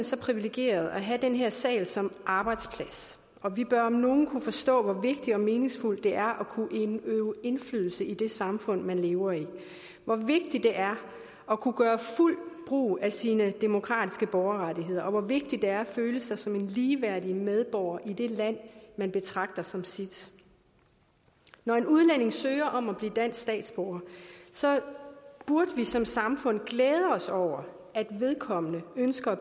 så privilegerede at have den her sal som arbejdsplads og vi bør om nogen kunne forstå hvor vigtigt og meningsfuldt det er at kunne øve indflydelse i det samfund man lever i hvor vigtigt det er at kunne gøre fuldt brug af sine demokratiske borgerrettigheder og hvor vigtigt det er at føle sig som en ligeværdig medborger i det land man betragter som sit når en udlænding søger om at blive dansk statsborger burde vi som samfund glæde os over at vedkommende ønsker at